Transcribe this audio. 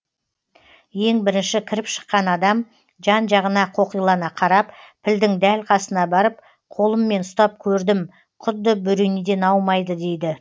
ең бірінші кіріп шыққан адам жан жағына қоқилана қарап пілдің дәл қасына барып қолыммен ұстап көрдім құдды бөренеден аумайды дейді